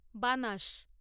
বানাস